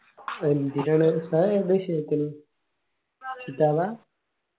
എന്തിനാണ്? ഉസ്താദ് ഏത് വിഷയ എടുക്കല്? കിത്താബാ